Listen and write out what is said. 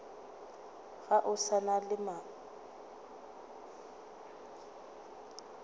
ga o sa na mohola